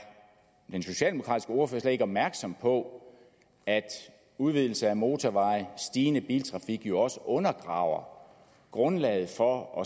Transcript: den socialdemokratiske ordfører slet ikke opmærksom på at udvidelse af motorveje og stigende biltrafik jo også undergraver grundlaget for